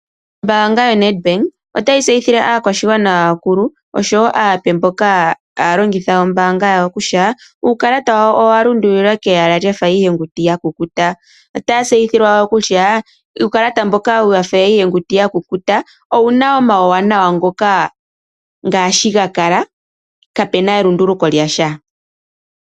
Ombaanga yoNedbank otayi tseyithile aakwashigwanan yawo aape naakulu mboka haya longitha ombaanga yawo kutya uukalata wawo owa lundululilwa kolwaala lwafa iihenguti yakukùta. Otaya tseyithilwa kutya uukalata mboka wafa iihenguti ya kukuta owuna omauwanawa ngaashi ga kala kapena elunduluko lyasha.